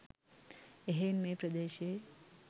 එහෙයින් මේ ප්‍රදේශයේ